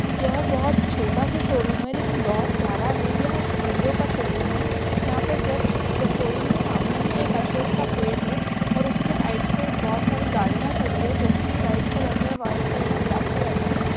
यह बहुत छोटा सा शोरूम है लेकिन बहुत प्यारा है यह हीरो का शोरूम है यहा पे जस्ट शोरूम के सामने ही एक अशोक का पेड़ है और उसके राइट साइड बहुत सारी गाड़िया खड़ी है जो की रेड कलर में व्हाइट कलर में ब्लॅक कलर में है।